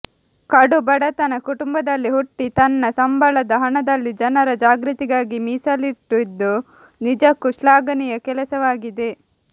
ಕಡು ಬಡತನ ಕುಟಂಬದಲ್ಲಿ ಹುಟ್ಟಿ ತನ್ನ ಸಂಬಳದ ಹಣದಲ್ಲಿ ಜನರ ಜಾಗೃತಿಗಾಗಿ ಮೀಸಲಿಟ್ಟಿದ್ದು ನಿಜಕ್ಕೂ ಶ್ಲಾಘನೀಯ ಕೆಲಸವಾಗಿದೆ